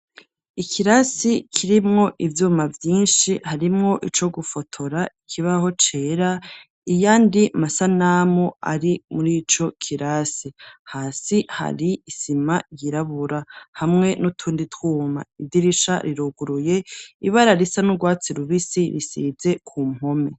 ikirasi kirimwo ibyuma byinshi harimwo ico gufotora kibaho cera iyandi masanamu ari muriico kirasi hasi hari isima yirabura hamwe n'utundi twuma idirisha riroguruye ibara risa n'urwatsi rubisi risidze ku mpome